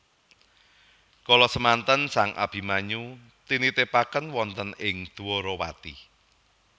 Kala semanten sang Abimanyu tinitipaken wonten ing Dwarawati